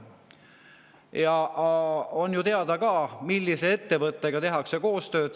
Ja on ju teada ka, millise ettevõttega tehakse koostööd.